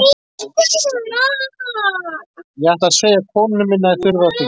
Ég ætla að segja konunni minni að ég þurfi á þing.